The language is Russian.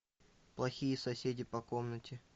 плохие соседи по комнате